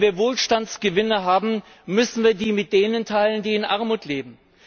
Wenn wir Wohlstandsgewinne haben, müssen wir die mit denen teilen, die in Armut leben.